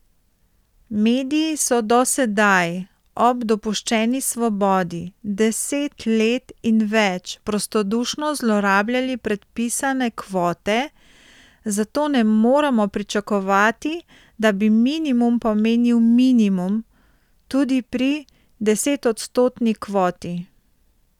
Mediji so do sedaj, ob dopuščeni svobodi, deset let in več prostodušno zlorabljali predpisane kvote, zato ne moremo pričakovati, da bi minimum pomenil minimum, tudi pri desetodstotni kvoti.